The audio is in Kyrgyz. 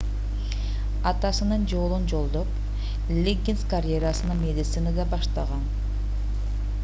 атасынын жолун жолдоп лиггинс карьерасын медицинада баштаган